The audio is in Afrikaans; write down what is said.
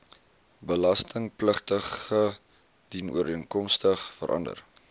belastingpligtige dienooreenkomstig verander